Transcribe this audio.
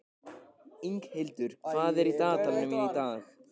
Inghildur, hvað er í dagatalinu mínu í dag?